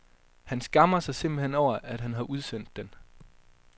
Han skammer sig simpelthen over, at han har udsendt den.